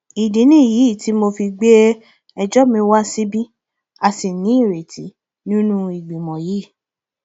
ìdí nìyí tí mo fi gbé ẹjọ mi wá síbí a sì nírètí nínú ìgbìmọ yìí